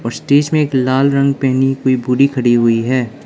उस स्टेज में एक लाल रंग पहनी हुई बूढ़ी खड़ी हुई है।